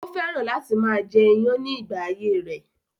Ó fẹ́ràn láti máa jẹ iyán ní ìgbà ayé rẹ̀